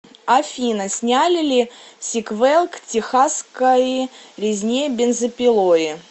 афина сняли ли сиквел к техасскои резне бензопилои